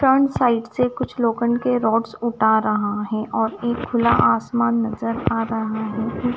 Turn side से कुछ लोखंड के रोड्स उठा रहा है और एक खुला आसमान नजर आ रहा है।